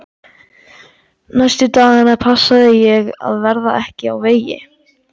Næstu daga passaði ég að verða ekki á vegi